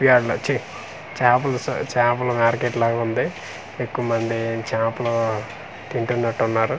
ఇయాల వచ్చి చాపలు సొ చాపల మార్కెట్ లాగుంది ఎక్కువమంది చాపలు తింటున్నట్టు ఉన్నారు.